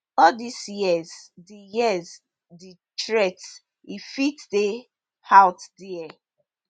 all dis years di years di threats e fit dey out dia